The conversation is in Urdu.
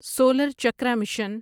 solar Chakra mission